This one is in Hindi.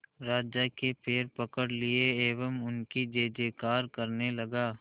राजा के पैर पकड़ लिए एवं उनकी जय जयकार करने लगा